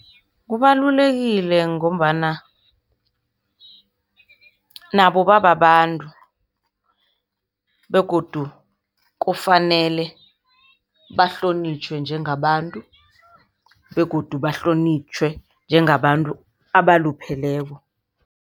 Kubalulekile ngombana nabo bababantu begodu kufanele bahlonitjhwe njengabantu begodu bahlonitjhwe njengabantu abalupheleko.